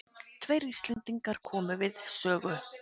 Tveir Íslendingar komu við sögu.